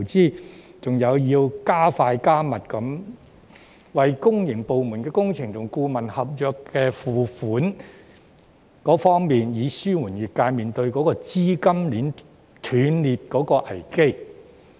當局還要加快、加密為公營部門的工程及顧問合約付款，以紓緩業界面對資金鏈斷裂的危機。